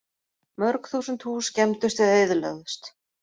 Mörg þúsund hús skemmdust eða eyðilögðust